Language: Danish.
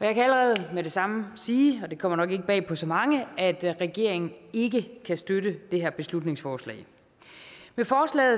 jeg kan allerede med det samme sige og det kommer nok ikke bag på så mange at at regeringen ikke kan støtte det her beslutningsforslag med forslaget